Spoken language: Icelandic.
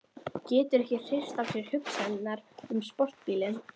Getur ekki hrist af sér hugsanirnar um sportbílinn.